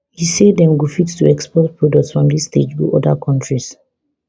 e say dem go fit to export products from dis stage go oda kontris